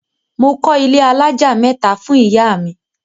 Mo kọ́ ilé alájà mẹ́ta fún ìyá mi.